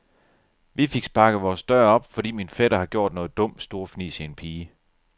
Vi fik sparket vores dør op, fordi min fætter har gjort noget dumt, storfnisede en pige.